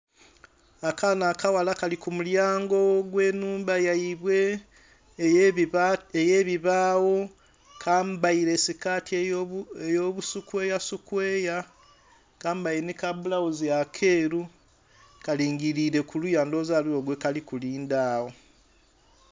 Akaana akaghala kali ku mulyango ogw'ennhumba yaibwe, ey'ebibaawo. Kambaile sikaati ey'obu sikweyasikweya. Kambaile nhi ka bulawuzi akeeru. Kalingiliile kuliya ndowooza ghaligho gwe kali kulinda agho.